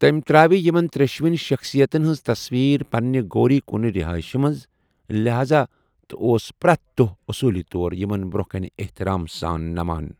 تٔمۍ ترٛٲوِ یِمن ترٛیٚشوٕنی شخصِیَتن ہٕنٛز تصویٖر پنٛنہِ گوری کُن رِہٲیشہِ منٛز لہذا تہٕ اوس پرٛٮ۪تھ دۄہ أصوٗلی طور یِمن برٛونٛہہ کنہِ احتِرام سان نَمان۔